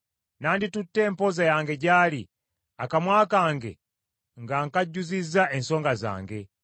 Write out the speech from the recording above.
Nanditutte empoza yange gy’ali, akamwa kange nga nkajjuzizza ensonga zange.